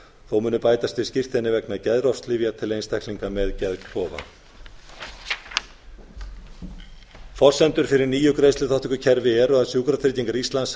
þó munu bætast við skírteini vegna geðrofslyfja til einstaklinga með geðklofa forsendur fyrir nýju greiðsluþátttökukerfi er að sjúkratryggingar íslands